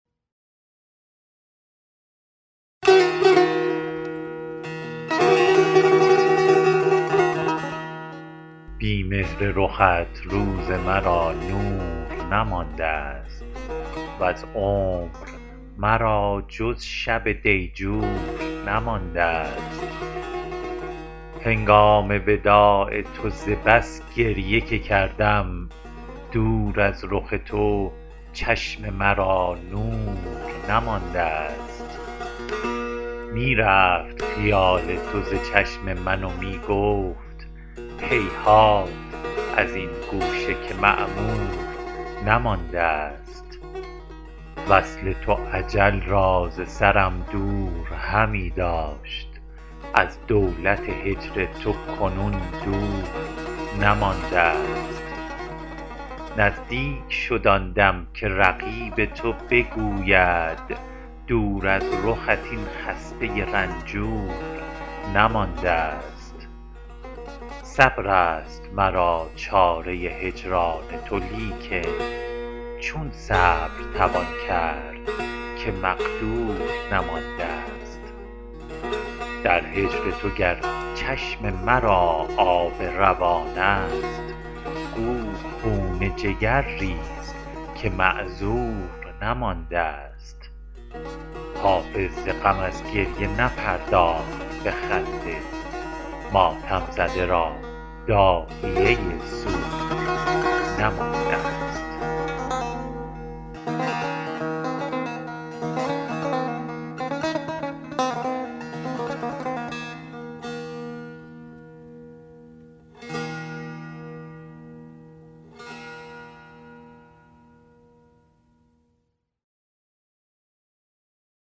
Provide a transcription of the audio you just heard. بی مهر رخت روز مرا نور نماندست وز عمر مرا جز شب دیجور نماندست هنگام وداع تو ز بس گریه که کردم دور از رخ تو چشم مرا نور نماندست می رفت خیال تو ز چشم من و می گفت هیهات از این گوشه که معمور نماندست وصل تو اجل را ز سرم دور همی داشت از دولت هجر تو کنون دور نماندست نزدیک شد آن دم که رقیب تو بگوید دور از رخت این خسته رنجور نماندست صبر است مرا چاره هجران تو لیکن چون صبر توان کرد که مقدور نماندست در هجر تو گر چشم مرا آب روان است گو خون جگر ریز که معذور نماندست حافظ ز غم از گریه نپرداخت به خنده ماتم زده را داعیه سور نماندست